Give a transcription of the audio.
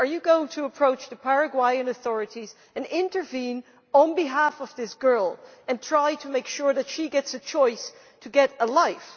Are you going to approach the Paraguayan authorities and intervene on behalf of this girl and try to make sure that she gets a choice to get a life?